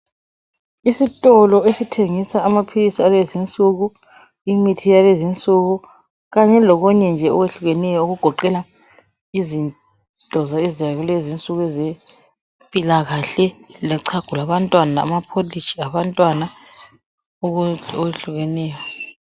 Isitolo esithengisa amaphilisi alezi insuku, imithi yalezi insuku kanye lokunye nje okwehlukeneyo okugoqela izinto zakulezi insuku ezempilakahle ,lochago lwabantwana ,ama"cottage" abantwana okwehlukeneyo.